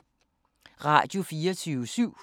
Radio24syv